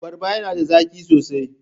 Abarrba yana da zaki sosai.